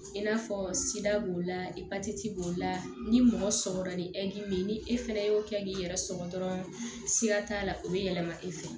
I n'a fɔ sida b'o la epatiti b'o la ni mɔgɔ sɔgɔra ni bɛ yen ni e fɛnɛ y'o kɛ k'i yɛrɛ sɔgɔ dɔrɔn sira t'a la o bɛ yɛlɛma e fɛ